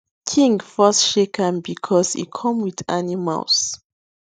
king first shake am because e come with animals